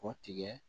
K'o tigɛ